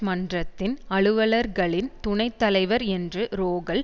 மன்றத்தின் அலுவலர்களின் துணை தலைவர் என்று ரோகல்